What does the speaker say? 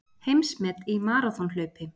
Heimsmet í maraþonhlaupi